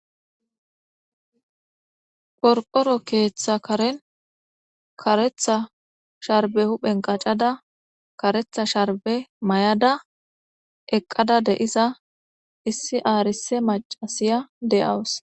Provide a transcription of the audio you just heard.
Qorqoro keeththa karen karetha sharbe huphen qacada karetha sharbe may7ada eqqada deisa issi aarise macasiya deawus